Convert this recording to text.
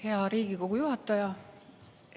Hea Riigikogu juhataja!